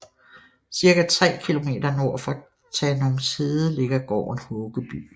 Cirka tre kilometer nord for Tanumshede ligger gården Håkeby